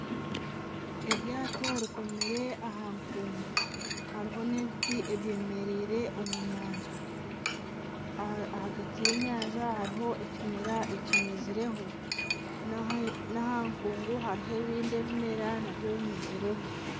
Eryaato rikomire aha nkuungu, hariho n'ebiti ebyemereire omu nyanja. Ahagati y'enyanja hariho ekimera ekimezireho na aha nkuungu hariho ebindi ebimera nabyo bimezireho.